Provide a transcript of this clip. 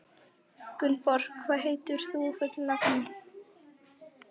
Gunnborg, hvað heitir þú fullu nafni?